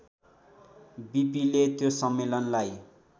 बिपिले त्यो सम्मेलनलाई